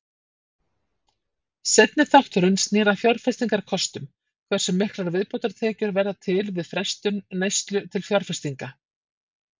Seinni þátturinn snýr að fjárfestingakostum, hversu miklar viðbótartekjur verða til við frestun neyslu til fjárfestinga.